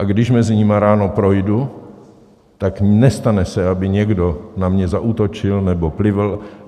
A když mezi nimi ráno projdu, tak se nestane, aby někdo na mě zaútočil nebo plivl.